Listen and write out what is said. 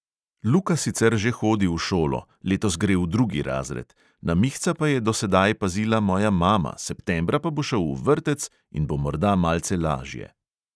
Luka sicer že hodi v šolo, letos gre v drugi razred, na mihca pa je do sedaj pazila moja mama, septembra pa bo šel v vrtec in bo morda malce lažje.